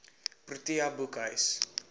protea boekhuis